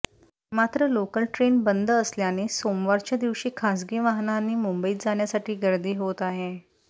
मात्र local train बंद असल्याने सोमवारच्या दिवशी खासगी वाहनांनी मुंबईत जाण्यासाठी गर्दी होते आहे